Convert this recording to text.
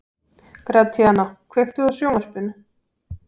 Gratíana, kveiktu á sjónvarpinu.